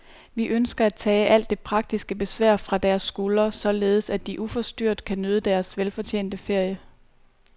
Vi ønsker at tage alt det praktiske besvær fra deres skuldre, således at de uforstyrret kan nyde deres velfortjente ferie.